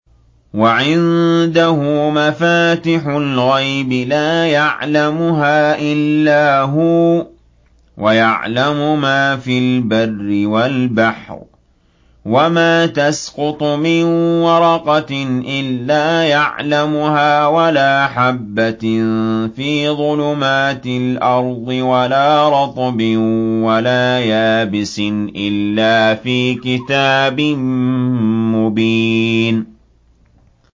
۞ وَعِندَهُ مَفَاتِحُ الْغَيْبِ لَا يَعْلَمُهَا إِلَّا هُوَ ۚ وَيَعْلَمُ مَا فِي الْبَرِّ وَالْبَحْرِ ۚ وَمَا تَسْقُطُ مِن وَرَقَةٍ إِلَّا يَعْلَمُهَا وَلَا حَبَّةٍ فِي ظُلُمَاتِ الْأَرْضِ وَلَا رَطْبٍ وَلَا يَابِسٍ إِلَّا فِي كِتَابٍ مُّبِينٍ